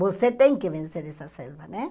Você tem que vencer essa selva, né?